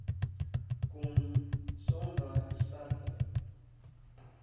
kon saamwerk sterkte